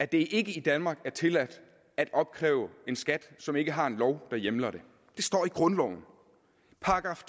det ikke i danmark er tilladt at opkræve en skat som ikke har en lov der hjemler det det står i grundlovens §